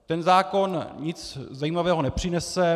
Ten zákon nic zajímavého nepřinese.